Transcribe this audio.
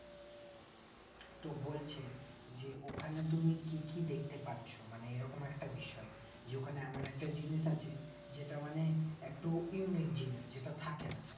তো বলছে যে ওখানে তুমি কি কি দেখতে পাচ্ছ মানে এই রকম একটা বিষয় যে দোকানে এমন একটা জিনিস আছে যেটা মানে একটো unique জিনিস সেটা থাকেনা